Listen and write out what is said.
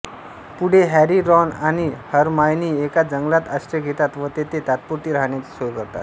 पुढे Harry Ron आणि Hermione एका जंगलात आश्रय घेतात व तेथे तात्पुरती राहण्याची सोय करतात